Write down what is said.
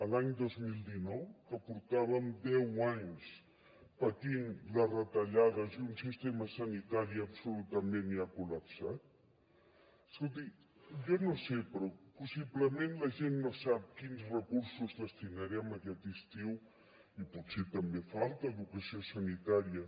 l’any dos mil dinou que portàvem deu anys patint les retallades i un sistema sanitari absolutament ja col·lapsat escolti jo no ho sé però possiblement la gent no sap quins recursos destinarem aquest estiu i potser també falta educació sanitària